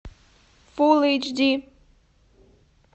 фулл эйч ди